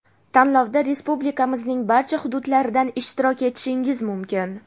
Tanlovda Respublikamizning barcha xududlaridan ishtirok etishingiz mumkin!.